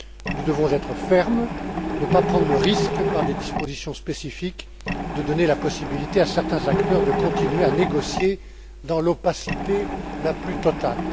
Nous devons être fermes, ne pas prendre le risque par des dispositions spécifiques de donner la possibilité à certains acteurs de continuer à négocier dans l'opacité la plus totale.